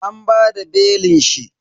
An bada belin shi.